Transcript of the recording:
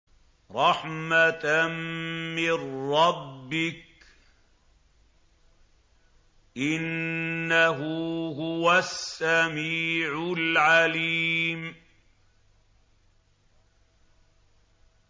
رَحْمَةً مِّن رَّبِّكَ ۚ إِنَّهُ هُوَ السَّمِيعُ الْعَلِيمُ